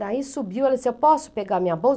Daí subiu, ela disse, eu posso pegar minha